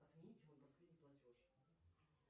отмените мой последний платеж